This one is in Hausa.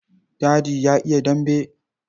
Dadi ya iya dambe.